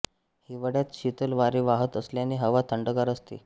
हिवाळ्यात शीतल वारे वाहत असल्याने हवा थंडगार असते